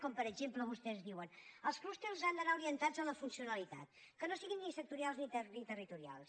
com per exemple vostès diuen els clústers han d’anar orientats a la funcionalitat que no siguin ni sectorials ni territorials